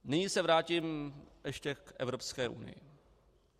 Nyní se vrátím ještě k Evropské unii.